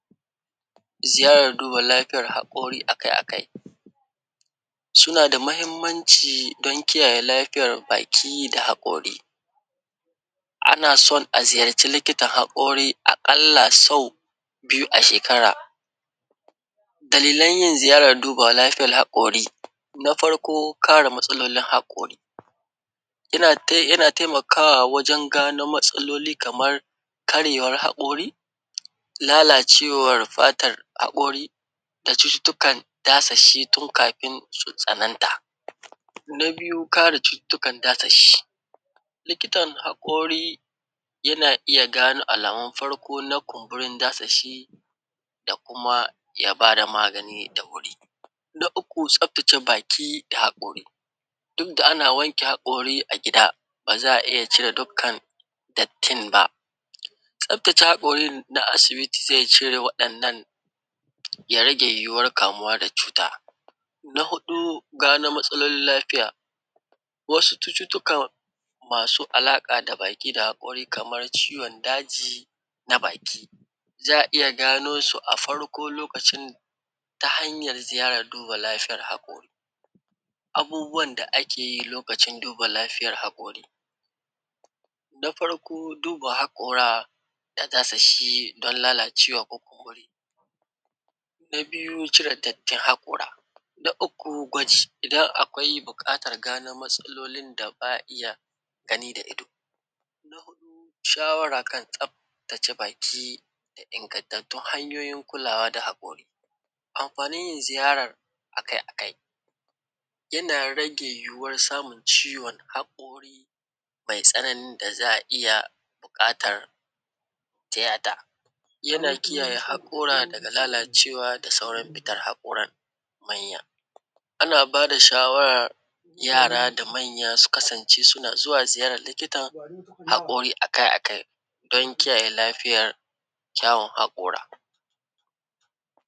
Ziyarar duba lafiyar haƙori a kai a kai. Suna da mahimmanci don kiyaye lafiyar baki da haƙori, ana son a ziyarci likitan haƙori aƙalla sau biyu a shekara. Dalilan yin ziyar duba lafiyal haƙori, na farko kare matsalolin haƙori, ya tai; yana taimakawa wajen gano matsaloli kamar karyewar haƙori, lalacewar fatar haƙori da cututukan dasashi tun kafin su tsananta. Na biyu, kare cututukan dasashi, likitan haƙori, yana iya gano alamun farko na kumburin dasashi da kuma ya ba da magani da wuri. Na uku, tsaftace baki da haƙori, duk da ana wanke haƙori a gida, ba za a iya cire dukkan dattin ba. Tsaftace haƙorin na asibiti zai cire waɗannan, ya rage yiwuwar kamuwa da cuta. Na huɗu, gano matsalolin lafiya, wasu cututtukan masu alaƙa da baki da haƙori kamar ciwon daji na baki, za a iya gano su a farko lokacin, ta hanyar ziyar duba lafiyar haƙori. Abubuwan da ake yi lokacin duba lafiyar haƙori, na farko duba haƙora da dasashi don lalacewa ko kumburi, na biyu, cire dattin haƙora, na uku gwaji, idan akwai buƙatar gano matsalolin da ba a iya gani da ido. Shawara kan tsaftace baki da ingantattun hanyoyin kulawa da haƙori. Amafanin yin ziyarar a kai a kai, yana rage yiwuwar samun ciwon haƙori mai tsananin da za a iya buƙatar tiyata. Yana kiyaye haƙora daga lalacewa da sauran fitar haƙoran, manya. Ana ba da shawarar yara da manya su kasance suna zuwa ziyarar likitan haƙori a kai a kai, don kiyaye lafiyar kyawun haƙora.